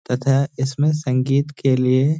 तथा इसमें संगीत के लिए --